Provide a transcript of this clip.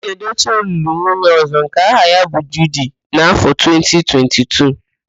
Yul Edochie lụrụ nwunye ọ̀zọ́ nke aha ya bụ Judi n' áfọ 2022.